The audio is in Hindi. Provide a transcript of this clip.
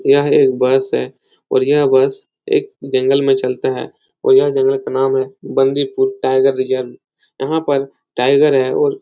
यह एक बस है और यह बस एक जंगल में चलता है और यह जंगल का नाम है बंदीपुर टाईगर रिजर्व यहाँ पर टाईगर है और --